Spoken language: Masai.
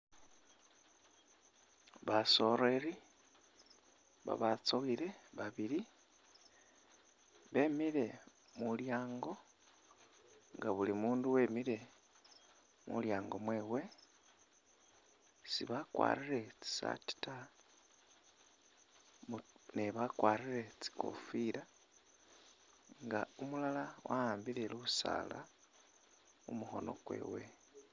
Basoreri babatsowile babili bemile mulyango nga bulimundu wemile mulyango mwewe sibakwarire tsisaati ta ne bakwarire tsikofila nga umulala wawambile lusaala mumukhoono kwewe